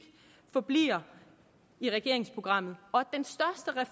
forbliver i regeringsprogrammet